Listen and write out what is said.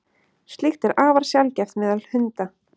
slíkt er afar sjaldgæft meðal hunda